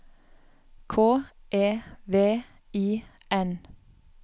K E V I N